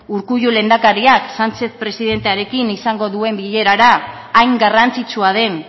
urkullu lehendakariak sánchez presidentearekin izango duen bilerara hain garrantzitsua den